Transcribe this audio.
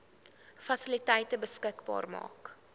fasiliteite beskikbaar maak